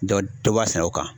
Dɔ dɔ b'a sɛnɛ o kan